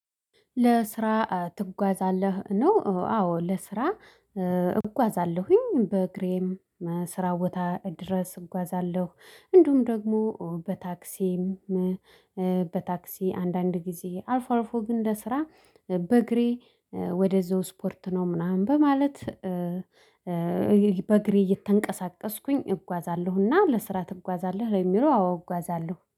ለስራ ትጓዛለህ ነው? አዎ ለስራ እጓዛለሁኝ በእግሬም ስራ ቦታ ድረስ እጓዛለሁ። እንዲሁም ደግሞ በታክሲም በታክሲ አንዳንድ ጊዜ አልፎ አልፎ ግን ለስራ በእግሬ ወደዛው ስፖርት ነው ምናምን በማለት። በእግሬ እየተንቀሳቀስኩኝ እጓዛለሁና ለስራ ትጓዛለህ ለሚለው አዎ እጓዛለሁ